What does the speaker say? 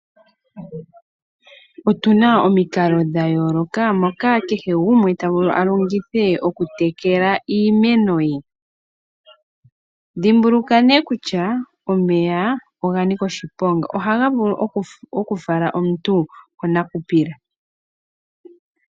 Otu na omikalo dha yooloka moka kehe gumwe ta vulu a longithe oku tekela iimeno ye. Dhimbuluka nee kutya omeya oga nika oshiponga ohaga vulu oku fala omuntu konakupila.